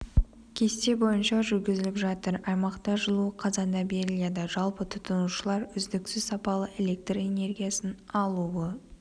кесте бойынша жүргізіліп жатыр аймақта жылу қазанда беріледі жалпы тұтынушылар үздіксіз сапалы электр энергиясын алуы